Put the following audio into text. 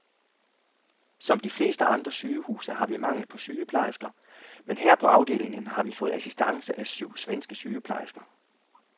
Som de fleste andre sygehuse har vi mangel på sygeplejersker, men her på afdelingen har vi fået assistance af syv svenske sygeplejersker.